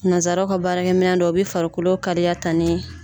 Nanzaraw ka baarakɛ minɛ dɔ u bɛ farikolo kaliya ta ni